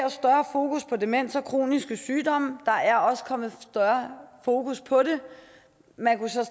fokus på demens og kroniske sygdomme der er også kommet større fokus på det man kunne så